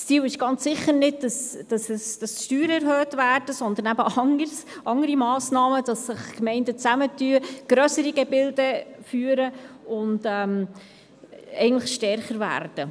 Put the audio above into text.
Das Ziel ist es ganz sicher nicht, dass die Steuern erhöht werden, sondern dass andere Massnahmen ergriffen werden, damit sich Gemeinden zusammentun, grössere Gebilde führen und stärker werden.